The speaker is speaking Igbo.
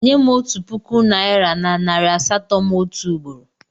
Nye m otu puku naịra na nari asatọ m otu ugboro!